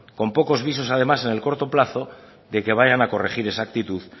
con pocos visos además en el corto plazo de que vayan a corregir esa actitud